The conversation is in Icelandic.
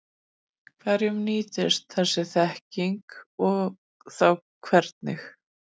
Hverjum nýtist þessi þekking og þá hvernig?